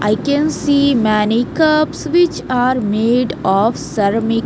I can see many cups which are made of sermic --